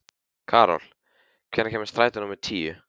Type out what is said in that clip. Karol, hvenær kemur strætó númer níu?